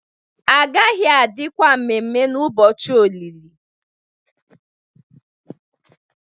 agaghi-adi kwa ememe n'ubọchi olìlì